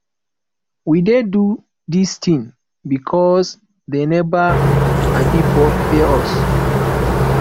we dey do dis thing because dey never um pay us